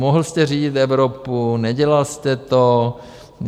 Mohl jste řídit Evropu, nedělal jste to.